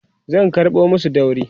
zan karɓo masu dauri